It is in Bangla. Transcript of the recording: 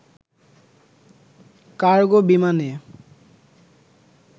কার্গো বিমানে